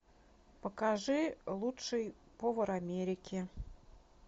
покажи лучший повар америки